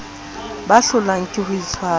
ba hlolwang ke ho itshwara